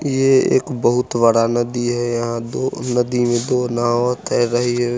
ये एक बहुत बड़ा नदी है यहाँ दो नदी मे दो नाव तैर रहे है।